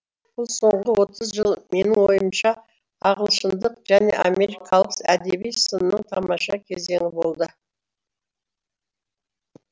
бұл соңғы отыз жыл менің ойымша ағылшындық және америкалық әдеби сынның тамаша кезеңі болды